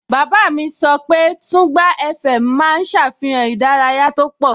Bàbá mi sọ pé Tùngbá FM máa ń ṣàfihàn ìdárayá tó pọ̀